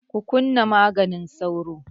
Ku kunna maganin sauron!